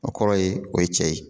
O kɔrɔ ye, o ye cɛ ye